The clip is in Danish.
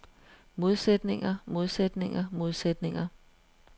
modsætninger modsætninger modsætninger